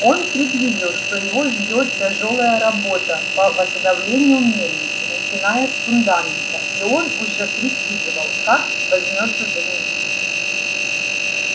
он предвидел что его ждёт тяжёлая работа по восстановлению мельницы начиная с фундамента и он уже прикидывал как возьмётся за неё